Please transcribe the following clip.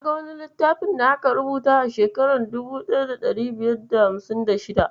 Na ga wani littafi da aka rubuta a shekarar 1556.